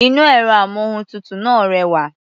Inú ẹ̀rọ-amóhuntutù náà rẹwà.